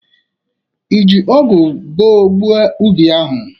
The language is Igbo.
I ji ọgụ boo gbuo ubi ahụ.